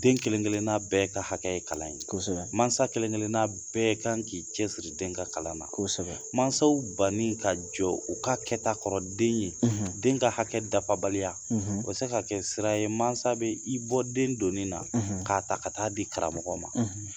Den kelen kelen bɛɛ ka hakɛ ye kalan; Kosɛbɛ; Masa kelen kelen bɛɛ kan k'i cɛ siri den ka kalan na; Kosɛbɛ; Masaw banni ka jɔ u ka kɛta kɔrɔ den ye; ; Den ka hakɛ dafabaliya; ; O bɛ se ka kɛ sira ye mansa bɛ i bɔ den doni na; na k'a ta ka taa di karamɔgɔ ma;